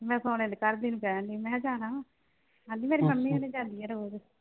ਮੈਂ ਸੋਹਣੇ ਦੀ ਪਰਬੀ ਨੂੰ ਕਹਿਣ ਡਈ। ਮਖਾਂ ਜਾਣਾ ਆਂਹਦੀ ਮੇਰੀ ਮੰਮੀ ਹੁਣੀ ਜਾਂਦੀ ਆਂ ਰੋਜ।